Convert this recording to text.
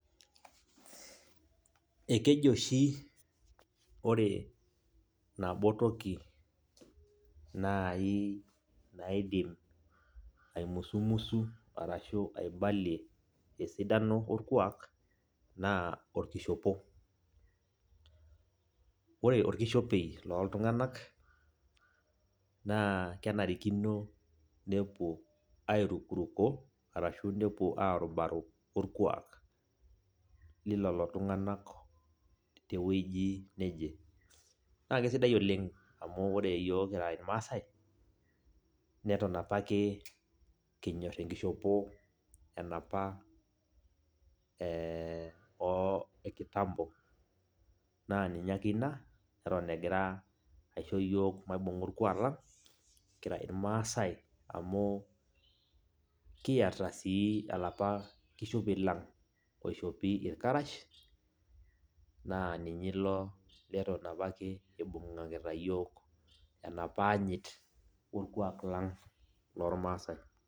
Ekeji oshi ore nabo toki nai naidim aimusumusu arashu aibalie esidano orkuak, naa orkishopo. Ore orkishopei loltung'anak, naa kenarikino nepuo airukuruko, arashu nepuo arubaro orkuak lilelo tung'anak tewueji neje. Na kesidai oleng amu ore yiok kira irmaasai, neton apake kinyor enkishopo enapa e kitambo, naa ninye ake ina, neton egira aisho yiok maibung'a orkuak lang, kira irmaasai amu, kiata si alapa kishopei lang, oishopi irkarash, naa ninye ilo leton apake ibung'akita yiok enapa anyit orkuak lang lormasai.